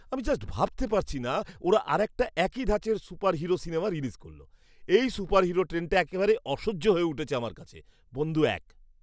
আমি জাস্ট ভাবতে পারছি না ওরা আরেকটা একই ধাঁচের সুপারহিরো সিনেমা রিলিজ করল। এই সুপারহিরো ট্রেন্ডটা একেবারে অসহ্য হয়ে উঠেছে আমার কাছে। বন্ধু এক